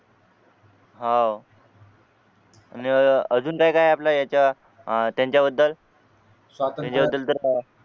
हो आणि अह अजून काय काय आपल्या याच्या त्यांच्याबद्दल